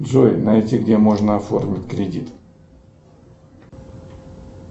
джой найди где можно оформить кредит